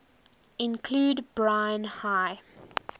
include brine high